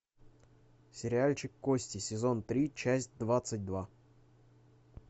сериальчик кости сезон три часть двадцать два